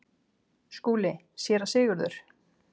SKÚLI: Séra Sigurður!